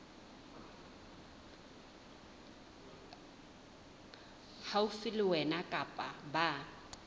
haufi le wena kapa ba